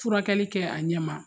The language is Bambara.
Furakɛli kɛ a ɲɛ ma